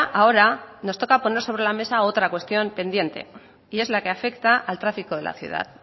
ahora nos toca poner sobre la mesa otra cuestión pendiente y es la que afecta al tráfico de la ciudad